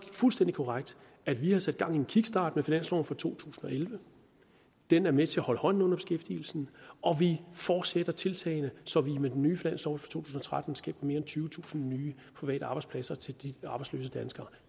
fuldstændig korrekt at vi har sat gang i en kickstart med finansloven for to tusind og elleve den er med til at holde hånden under beskæftigelsen og vi fortsætter tiltagene så vi med den nye finanslov for to tusind og tretten skaber mere end tyvetusind nye private arbejdspladser til de arbejdsløse danskere